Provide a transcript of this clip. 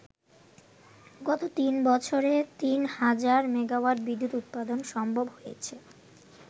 গত তিন বছরে তিন হাজার মেগাওয়াট বিদ্যুৎ উৎপাদন সম্ভব হয়েছে।